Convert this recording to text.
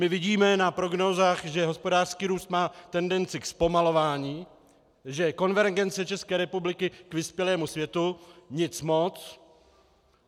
My vidíme na prognózách, že hospodářský růst má tendenci ke zpomalování, že konvergence České republiky k vyspělému světu nic moc.